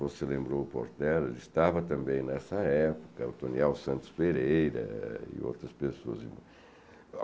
Você lembrou o Porter, ele estava também nessa época, o Toniel Santos Pereira e outras pessoas.